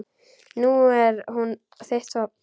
Nú er hún þitt vopn.